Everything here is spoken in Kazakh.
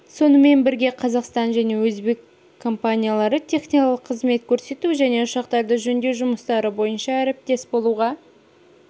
сонымен бірге қазақ және өзбек компаниялары техникалық қызмет көрсету және ұшақтарды жөндеу жұмыстары бойынша әріптес болуға